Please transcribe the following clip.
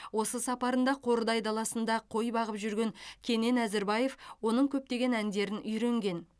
осы сапарында қордай даласында қой бағып жүрген кенен әзірбаев оның көптеген әндерін үйренген